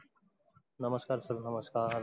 नमस्कार sir नमस्कार